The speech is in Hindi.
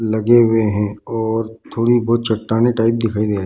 लगे हुए हैं और थोड़ी बहुत चट्टानें टाइप दिख रही है।